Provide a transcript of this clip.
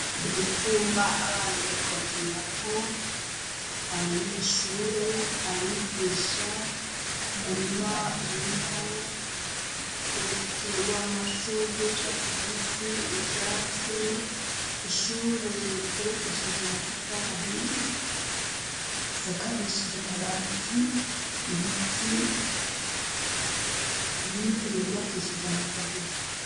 Uruvuma abana bariko bakirirako, abanyeshure, abigisha ,umurima urimwo uruzitiro rw'amashurwe y'icatsi kibitsi, ivyatsi, ishure ryubakishije amatafari ahiye, isakarishije amabati, ibiti n'inzu vyubakishije amateguru.